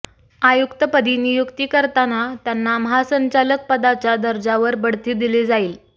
आयुक्तपदी नियुक्ती करताना त्यांना महासंचालक पदाच्या दर्जावर बढती दिली जाईल